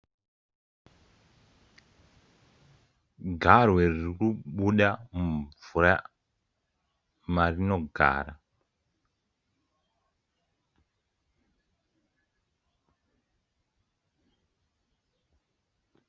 Garwe riri kubuda mumvura marinogara.